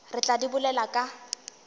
re tla di bolela ka